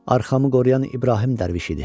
Arxamı qoruyan İbrahim Dərviş idi.